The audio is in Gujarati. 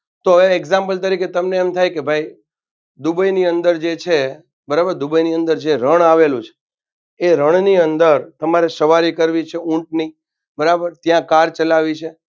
તો એક Example તરીકે તમને એમ થાય કે ભાઈ દુબઈની અંદર જે છે બરાબર દુબઈની અંદર જે રણ આવેલું છે એ રણની અંદર તમારે સવારી કરવી છે ઊંટની બરાબર ત્યાં car ચલાવી છે.